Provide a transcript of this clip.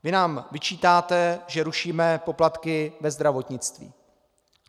Vy nám vyčítáte, že rušíme poplatky ve zdravotnictví.